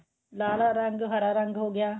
ਲਾਲ ਰੰਗ ਹਰਾ ਰੰਗ ਹੋ ਗਿਆ